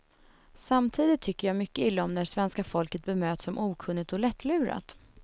Samtidigt tycker jag mycket illa om när svenska folket bemöts som okunnigt och lättlurat.